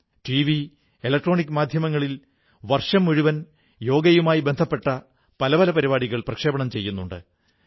TV electronic മാധ്യമങ്ങളിൽ വർഷം മുഴുവൻ യോഗയുമായി ബന്ധപ്പെട്ട പല പരിപാടികൾ ചെയ്യുന്നുണ്ട്